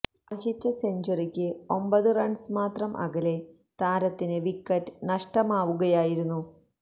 അര്ഹിച്ച സെഞ്ച്വറിക്ക് ഒമ്ബത് റണ്സ് മാത്രം അകലെ താരത്തിനു വിക്കറ്റ് നഷ്ടമാവുകയായിരുന്നു